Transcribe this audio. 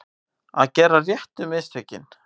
Að gera réttu mistökin